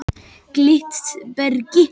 Glitbergi